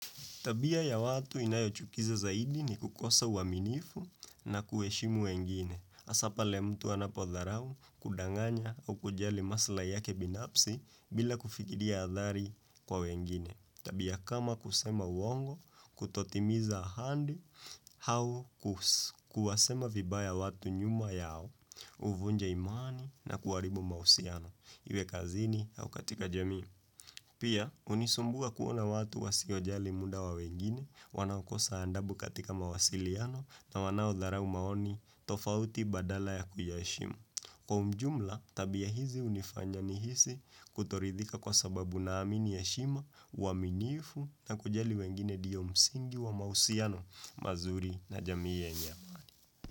Tabia ya watu inayochukiza zaidi ni kukosa uaminifu na kuheshimu wengine. Haswa pale mtu anapo dharau kudanganya au kujali maslaha yake binafsi bila kufikiria hadhari kwa wengine. Tabia kama kusema uongo, kutotimiza ahadi, au kuwasema vibaya watu nyuma yao, huvunja imani na kuharibu mahusiano. Iwe kazini au katika jamii. Pia, hunisumbua kuona watu wasiojali muda wa wengine, wanaokosa adabu katika mawasiliano na wanaodharau maoni tofauti badala ya kuyaheshimu. Kwa ujumla, tabia hizi hunifanya nihisi kutoridhika kwa sababu naamini heshima, uaminifu na kujali wengine ndiyo msingi wa mahusiano mazuri na jamii yenye amani.